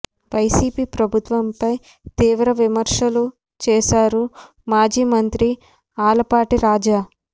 YCP ప్రభుత్వంపై తీవ్ర విమర్శలు చేశారు మాజీ మంత్రి ఆలపాటి రాజా